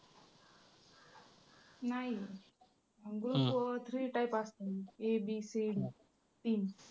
नाही group three type असत्यात ABC तीन.